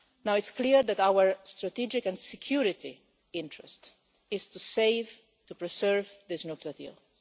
It's clear that our strategic and security interest is to save, to preserve this nuclear deal.